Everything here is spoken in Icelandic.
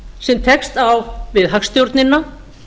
sem tekst á við hagstjórnina